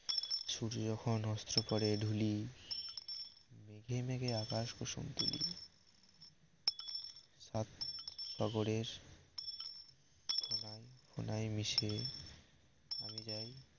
সুর্য যখন অস্ত পরে ধূলি মেঘে মেঘে আকাশ কুসুম তুলি সাত সাগরের ফেনায় ফেনায় মিশে আমি যাই